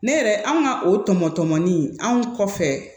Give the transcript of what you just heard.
Ne yɛrɛ anw ka o tɔmɔ tɔmɔli in anw kɔfɛ